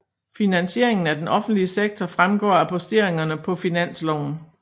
Finansieringen af den offentlige sektor fremgår af posteringerne på finansloven